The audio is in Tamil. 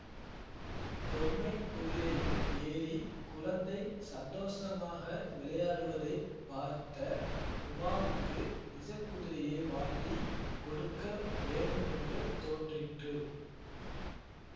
பொம்மைக் குதிரையில் ஏறி குழந்தை சந்தோஷமாக விளையாடுவதைப் பார்த்த உமாவுக்கு நிஜக் குதிரையே வாங்கி கொடுக்க வேண்டு மென்று தோன்றிற்று